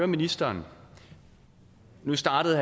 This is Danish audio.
ministeren startede